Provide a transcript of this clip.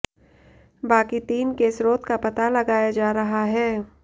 बाकी तीन के स्रोत का पता लगाया जा रहा है